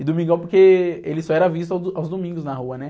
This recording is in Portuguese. E Domingão porque ele só era visto ao do, aos domingos na rua, né?